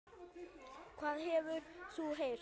Hvað hefur þú heyrt?